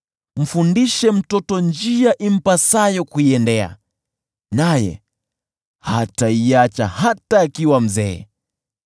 Mfundishe mtoto njia impasayo kuiendea, naye hataiacha hata akiwa mzee.